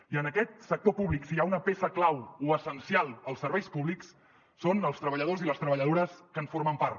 i en aquest sector públic si hi ha una peça clau o essencial als serveis pú blics són els treballadors i les treballadores que en formen part